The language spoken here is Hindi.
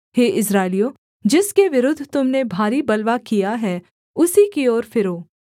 हे इस्राएलियों जिसके विरुद्ध तुम ने भारी बलवा किया है उसी की ओर फिरो